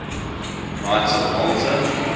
knights of malta